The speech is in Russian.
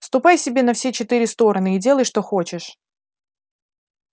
ступай себе на все четыре стороны и делай что хочешь